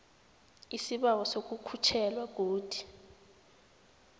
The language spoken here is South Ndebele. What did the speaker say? isibawo sokukhutjhelwa godu